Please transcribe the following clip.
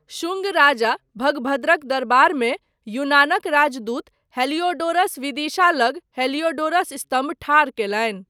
शुंग राजा भगभद्रक दरबारमे यूनानक राजदूत हेलिओडोरस विदिशा लग हेलिओडोरस स्तम्भ ठाढ़ कयलनि।